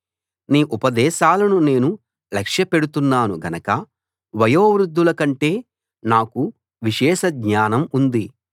నీ ఉపదేశాలను నేను లక్ష్యపెడుతున్నాను గనక వయోవృద్ధుల కంటే నాకు విశేషజ్ఞానం ఉంది